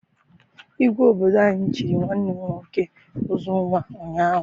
Igwe obodo anyị chịrị nwanne m nwoke Uzunwa ụnyaahụ.